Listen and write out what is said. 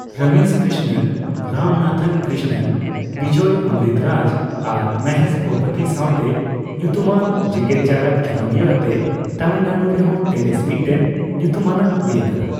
ᱨᱚᱢᱮᱥ ᱠᱨᱤᱥᱱᱚᱱ, ᱨᱟᱢᱱᱟᱛᱷᱚᱱ ᱠᱨᱤᱥᱱᱚᱱ, ᱵᱤᱡᱚᱭ ᱚᱢᱨᱤᱛᱨᱟᱡᱽ ᱟᱨ ᱢᱚᱦᱮᱥ ᱵᱷᱩᱯᱚᱛᱤ ᱥᱟᱣᱛᱮ ᱧᱩᱛᱩᱢᱟᱱ ᱡᱮᱜᱮᱫᱡᱟᱠᱟᱫ ᱠᱷᱤᱞᱚᱸᱰᱤᱭᱟᱹ ᱟᱛᱮ ᱛᱟᱹᱢᱤᱞᱱᱟᱰᱩ ᱨᱮᱦᱚᱸ ᱴᱮᱱᱤᱥ ᱢᱤᱫᱴᱮᱱ ᱧᱩᱛᱩᱢᱟᱱᱟᱜ ᱦᱩᱭᱟᱠᱟᱱᱟ ᱾